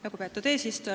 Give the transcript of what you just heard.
Lugupeetud eesistuja!